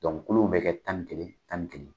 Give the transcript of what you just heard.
kulu bɛ kɛ tan ni kelen tan ni kelen.